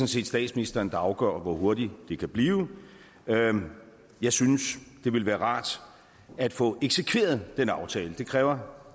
set statsministeren der afgør hvor hurtigt det kan blive jeg synes det ville være rart at få eksekveret den aftale det kræver